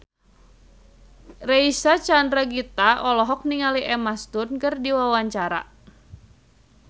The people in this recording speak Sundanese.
Reysa Chandragitta olohok ningali Emma Stone keur diwawancara